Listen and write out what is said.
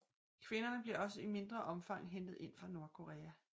Kvinderne bliver også i mindre omfang hentet inde fra Nordkorea